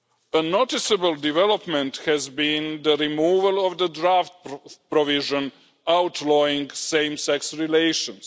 A noticeable development has been the removal of the draft provision outlawing same sex relations.